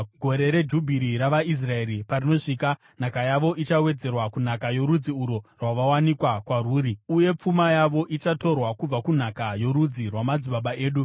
Gore reJubhiri ravaIsraeri parinosvika, nhaka yavo ichawedzerwa kunhaka yorudzi urwo rwavakawanikwa kwarwuri, uye pfuma yavo ichatorwa kubva kunhaka yorudzi rwamadzibaba edu.”